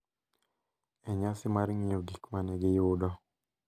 E nyasi mar ng’iyo gik ma ne giyudo